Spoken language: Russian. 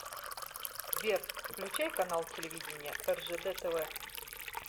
сбер включай канал телевидения ржд тв